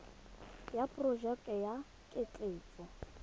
ya porojeke ya ketleetso ya